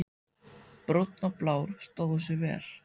Brúnn og Blár stóðu sig vel.